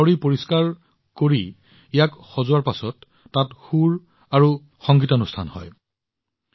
চুলতানৰ বাৱড়ী পৰিষ্কাৰ কৰাৰ পিছত ইয়াক সজোৱাৰ পিছত তাত সুৰ আৰু সংগীতৰ এক সংগীতানুষ্ঠান হয়